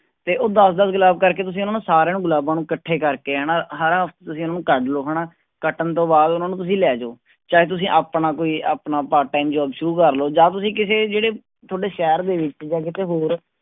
ਤੇ ਉਹ ਦਸ ਦਸ ਗੁਲਾਬ ਕਰਕੇ ਤੁਸੀਂ ਉਹਨਾਂ ਸਾਰਿਆਂ ਨੂੰ ਗੁਲਾਬਾਂ ਨੂੰ ਇਕੱਠੇ ਕਰਕੇ ਹਨਾ, ਸਾਰਾ ਤੁਸੀਂ ਉਹਨੂੰ ਕੱਢ ਲਓ ਹਨਾ, ਕੱਟਣ ਤੋਂ ਬਾਅਦ ਉਹਨਾਂ ਨੂੰ ਤੁਸੀਂ ਲੈ ਜਾਓ ਚਾਹੇ ਤੁਸੀਂ ਆਪਣਾ ਕੋਈ ਆਪਣਾ part-time job ਸ਼ੁਰੂ ਕਰ ਲਓ ਜਾਂ ਤੁਸੀਂ ਕਿਸੇ ਜਿਹੜੇ ਤੁਹਾਡੇ ਸ਼ਹਿਰ ਦੇ ਵਿੱਚ ਜਾਂ ਕਿਤੇ ਹੋਰ